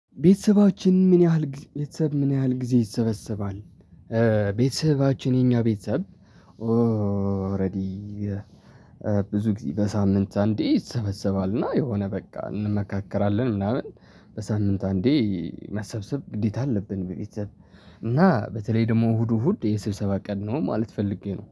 ቤተሰባችን ምን ያህል ጊዜ ቤተሰብ ምን ያህል ጊዜ ይሰበሰባል? ቤተሰባችን የኛ ቤተሰብ። ኦሬዲ ብዙ ጊዜ በሳምንት አንዴ ይሰበሰባልና የሆነ በቃ እንመካከራለን። ምናምን በሳምንት አንዴ መሰብሰብ ግዴታ አለብን። በቤተሰብ እና በተለይ ደግሞ እሁዱ እሁድ የስብሰባ ቀን ነው ማለት ፈልጌ ነው